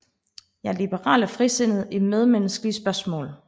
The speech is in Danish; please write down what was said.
Jeg er liberal og frisindet i medmenneskelige spørgsmål